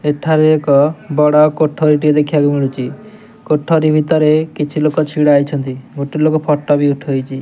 ଏଠାରେ ଏକ ବଡ଼ କୋଠରୀ ଟିଏ ଦେଖିବାକୁ ମିଳୁଚି କୋଠରୀ ଭିତରେ କିଛି ଲୋକ ଛିଡ଼ା ହୋଇଛନ୍ତି ଗୋଟେ ଲୋକ ଫଟୋ ବି ଉଠେଇଚି।